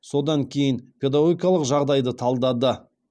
содан кейін педагогикалық жағдайды талдады